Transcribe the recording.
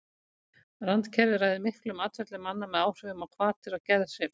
Randkerfið ræður miklu um atferli manna með áhrifum á hvatir og geðhrif.